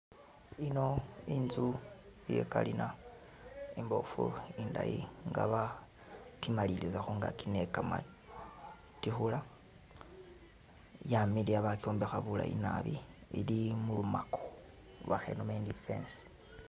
Iyino inzu iya kalina imbofu indayi nga bakimaliliza khungaaki ne kamatikhula, yamiliya bakyombekha bulayi naabi ili mulumako oba khenome indi i'fence.